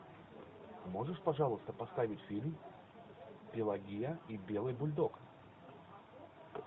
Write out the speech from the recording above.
можешь пожалуйста поставить фильм пелагея и белый бульдог